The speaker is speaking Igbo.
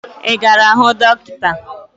Ị gara hụ dọkịta?